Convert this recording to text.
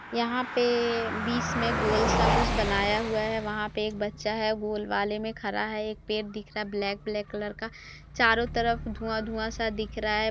यहाँ पे बीच में गोल सा कुछ बनाया हुआ है वहाँ पे एक बच्चा है गोल वाले में खड़ा है एक पेड़ दिख रहा ब्लैक ब्लैक कलर का चारो तरफ धुआँ धुआँ सा दिख रहा है।